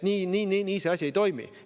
Nii see asi ei toimi.